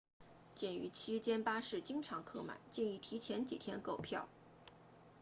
鉴于区间巴士经常客满建议提前几天购票